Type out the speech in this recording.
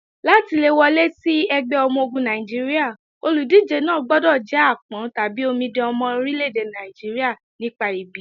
Láti le wọlé sí ẹgbẹ́ ọmọ-ogun Nàìjíríà, olùdíje náà gbọdọ̀ jẹ́ àpọ́n/omidan ọmọ orílẹ́-èdè Nàìjíríà nípa ìbí.